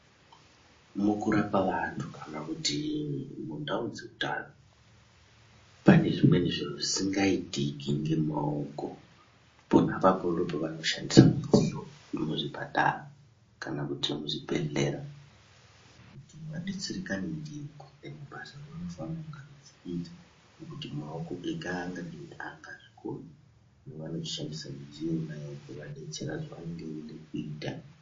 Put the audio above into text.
Mukurapa vantu kana kuti mundau dzeutano. Pane zvimweni zviro zvisingaitiki ngemaoko pona ipapo ndopavanoshandisa mudziyo vemuzvipatara kana kuti muzvibhedhlera. Kuti vabetserekane ndiyo kuita mabasa avanofana kunge echiita ngekuti maoko ega hangadini hangazvikoni yavanoshandisa midziyo iyonayo kubetsera zvavanonga veida kuita.